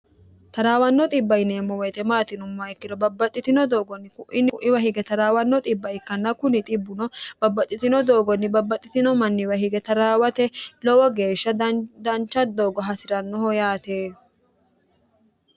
taraawanno dhibba ikkiro babbaxxitino doogonni ku'iniku'iwa hige trwanno bb ikkanna kuni 1bbuno babbaxxitino doogonni babbaxxitino manniwa hige taraawate lowo geeshsha dancha doogo hasi'rannoho yaate